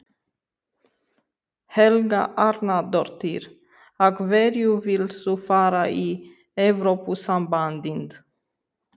Helga Arnardóttir: Af hverju vilt þú fara í Evrópusambandið?